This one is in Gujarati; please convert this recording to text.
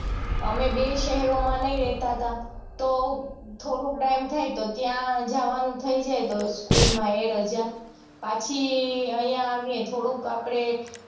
અમે બેય શહેરોમાં નઈ રેતા તા તો થોડુંક time થાય તો ત્યાં જવાનું થઇ જાય તો school માં ઈ રજા પછી અઇયા આવીયે થોડુંક આપડે